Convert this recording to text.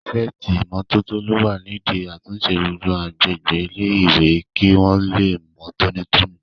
Pírífẹ̀tì ìmótótó ló wà nídi àtúnṣe gbogbo agbègbè ilé-ìwé kí wọ́n lè mọ́ tóní tóní